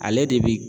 Ale de bi